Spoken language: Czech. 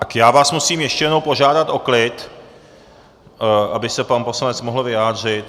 Tak já vás musím ještě jednou požádat o klid, aby se pan poslanec mohl vyjádřit.